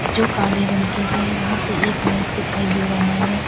जो काले रंग की है यहां पे एक मेज़ दिखाई दे रहा है।